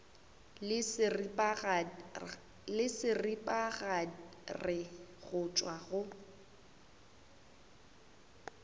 le seripagare go tšwa go